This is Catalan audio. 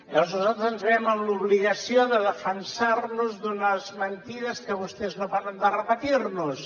llavors nosaltres ens veiem en l’obligació de defensar nos d’unes mentides que vostès no paren de repetir nos